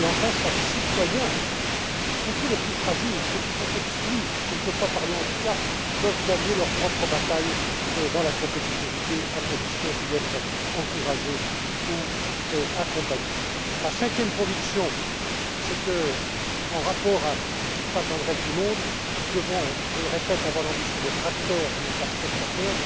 Et, enfin, chaque citoyen, y compris le plus fragile, celui qui est exclu quelquefois par le handicap, peut gagner sa propre bataille dans la compétitivité, à condition d'y être encouragé ou accompagné. Ma cinquième conviction, c'est que, en rapport avec ce qui se passe dans le reste du monde, nous devons, je le répète, avoir l'ambition d'être acteurs et non pas spectateurs.